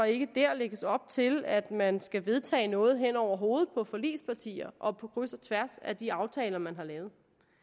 ikke der lægges op til at man skal vedtage noget hen over hovedet på forligspartier og på kryds og tværs af de aftaler man har lavet